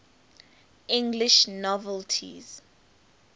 english novelists